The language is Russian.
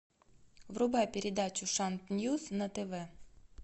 врубай передачу шант ньюс на тв